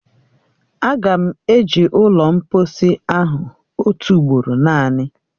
Aga m eje ụlọ mkposi ọha otu ugboro naanị